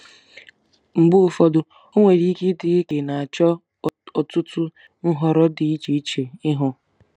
Mgbe ụfọdụ, ọ nwere ike ịdị gị ka ị na-eche ọtụtụ nhọrọ dị iche iche ihu.